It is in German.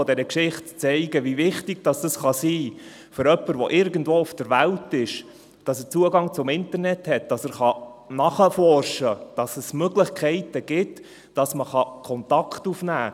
Anhand dieser Geschichte will ich Ihnen zeigen, wie wichtig es für jemanden sein kann, der irgendwo auf der Welt ist, dass er Zugang zum Internet hat, damit er nachforschen kann und es Möglichkeiten gibt, Kontakt aufzunehmen.